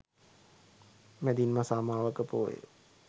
මැදින් මස අමාවක පෝය